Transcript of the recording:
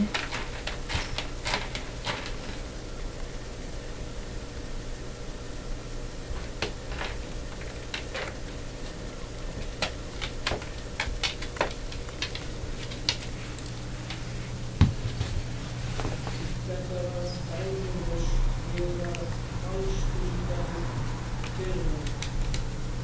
Þetta var dæmalaust, ég var alstrípaður fyrir henni.